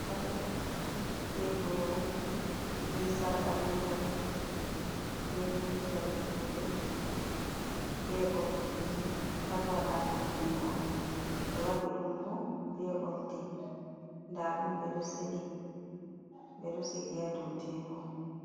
Paɗe, be boro, be sarka, be yeri, be jawe juɗe, be oldiji pat mai waɗa ɗum jungo on. Ɓe waɗi ɗum bo be oldi nda ɗum ɓeɗo sili ɓeɗo sigi ha dou tebur.